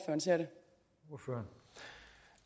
man selv